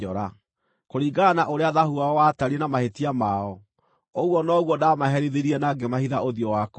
Kũringana na ũrĩa thaahu wao watariĩ na mahĩtia mao, ũguo noguo ndaamaherithirie na ngĩmahitha ũthiũ wakwa.